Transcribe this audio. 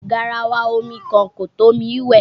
Garawa omi kan kò tó mi wẹ̀.